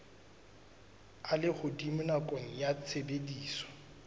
a lehodimo nakong ya tshebediso